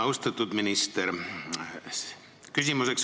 Austatud minister!